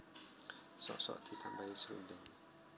Sok sok ditambahi srundeng